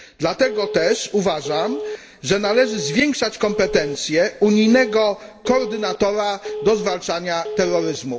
Dlatego też uważam, że należy zwiększać kompetencje unijnego koordynatora do zwalczania terroryzmu.